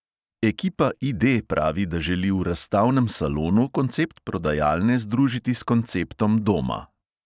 Ekipa ID pravi, da želi v razstavnem salonu koncept prodajalne združiti s konceptom doma.